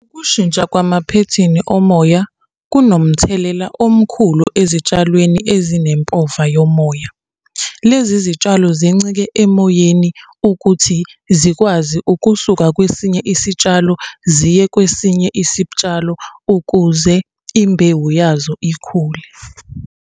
Ukushintsha kwamaphethini omoya kunomthelela omkhulu ezitshalweni ezinempova yomoya. Lezi zitshalo zincike emoyeni ukuthi zikwazi ukusuka kwesinye isitshalo ziye kwesinye isitshalo, ukuze imbewu yazo ikhule.